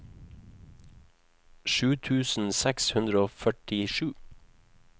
sju tusen seks hundre og førtisju